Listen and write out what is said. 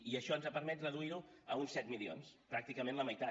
i això ens ha permès reduir ho a uns set milions pràcticament la meitat